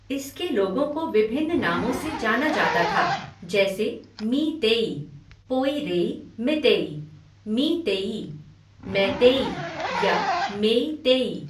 इसके लोगों को विभिन्न नामों से जाना जाता था, जैसे मी तेई, पोइरेई मितेई, मीतेई, मैतेई या मेइतेई।